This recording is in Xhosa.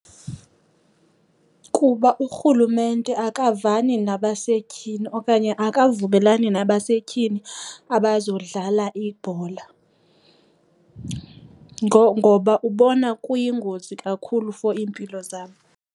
Kuba urhulumente akavani nabasetyhini okanye akavumelani nabasetyhini abazodlala ibhola ngoba ubona kuyingozi kakhulu for iimpilo zabo.